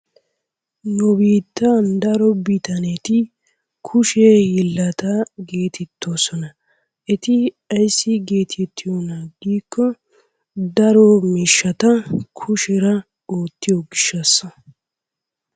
Nu biittan daro bitanetti kushshe hiillata geetetoosona. Eti ayssi getettiyona giiko daro miishshata kusheera oottiyo gishshaasa.